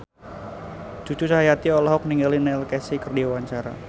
Cucu Cahyati olohok ningali Neil Casey keur diwawancara